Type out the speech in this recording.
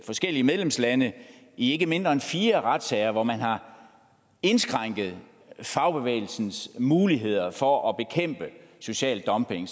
forskellige medlemslande i ikke mindre end fire retssager hvor man har indskrænket fagbevægelsens muligheder for at bekæmpe social dumping